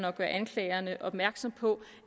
anklagerne opmærksomme på